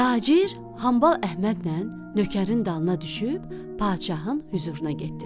Tacir Hambal Əhmədlə nökərin dalına düşüb padşahın hüzuruna getdilər.